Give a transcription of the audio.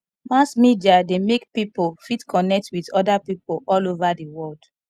mass media de make pipo fit connect with other pipo all over di world